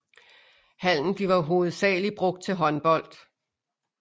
Hallen bliver hovedsageligt brugt til håndbold